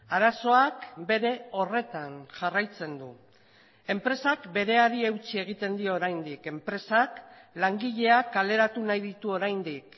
arazoak bere horretan jarraitzen du enpresak bereari eutsi egiten dio oraindik enpresak langileak kaleratu nahi ditu oraindik